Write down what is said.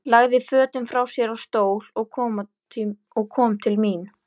Lagði fötin frá sér á stól og kom til mín.